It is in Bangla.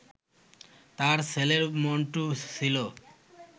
তার ছেলে মন্টু ছিল